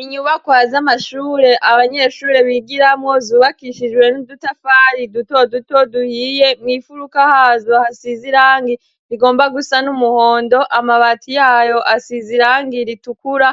inyubakwa z'amashure abanyeshure bigiramwo zubakishijwe n'udutafari duto duto duhiye mw'ifuruka hazo hasize irangi rigomba gusa n'umuhondo amabati yayo asize irangi ritukura